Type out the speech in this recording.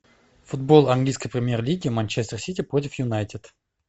футбол английской премьер лиги манчестер сити против юнайтед